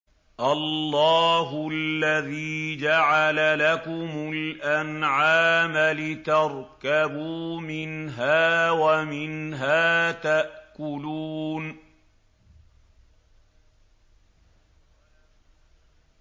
اللَّهُ الَّذِي جَعَلَ لَكُمُ الْأَنْعَامَ لِتَرْكَبُوا مِنْهَا وَمِنْهَا تَأْكُلُونَ